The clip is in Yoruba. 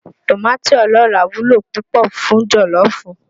Tòmátì ọlọ́ràá wúlò púpọ̀ fún jọ̀lọ́ọ̀fù